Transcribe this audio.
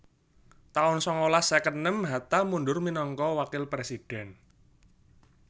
taun sangalas seket enem Hatta mundur minangka wakil présidhèn